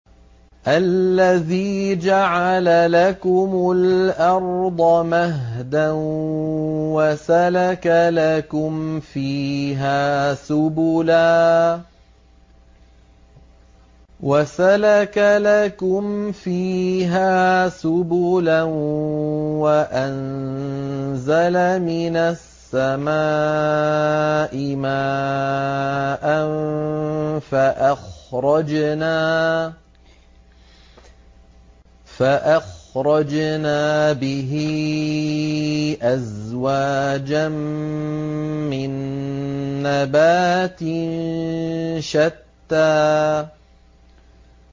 الَّذِي جَعَلَ لَكُمُ الْأَرْضَ مَهْدًا وَسَلَكَ لَكُمْ فِيهَا سُبُلًا وَأَنزَلَ مِنَ السَّمَاءِ مَاءً فَأَخْرَجْنَا بِهِ أَزْوَاجًا مِّن نَّبَاتٍ شَتَّىٰ